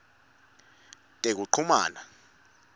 tekuchumana